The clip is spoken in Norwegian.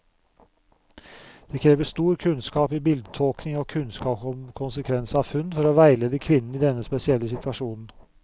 Det krever stor kunnskap i bildetolkning og kunnskap om konsekvens av funn, for å veilede kvinnen i denne spesielle situasjonen.